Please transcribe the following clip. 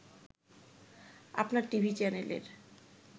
আপনার টিভি চ্যানেলের